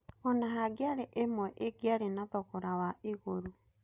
Ona-hangĩarĩ ĩmwe ĩngĩarĩ na thogora wa igũrũ.